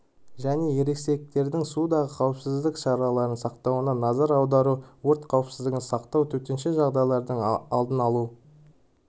және ересектердің судағы қауіпсіздік шараларын сақтауына назар аудару өрт қауіпсіздігін сақтау төтенше жағдайлардың алдын алу